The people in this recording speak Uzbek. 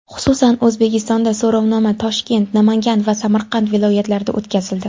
Xususan, O‘zbekistonda so‘rovnoma Toshkent, Namangan va Samarqand viloyatlarida o‘tkazildi.